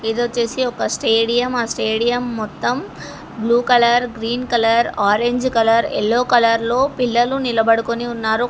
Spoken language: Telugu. ఇది వచ్చేసి ఒక స్టేడియం ఆ స్టేడియం మొత్తం blue colour green colour orange colour yellow colour లో పిల్లలు నిలబడుకుని ఉన్నారు ఒక.